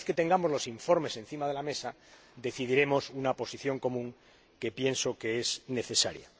Una vez que tengamos los informes encima de la mesa, adoptaremos una posición común que pienso que es necesaria.